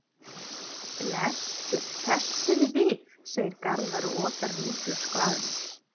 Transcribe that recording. Blessuð, hresstu þig við, segir Garðar og otar vínflösku að henni.